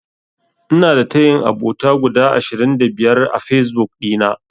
Ina da tayin abota guda ashirin da biyar a Fesbuk ɗina.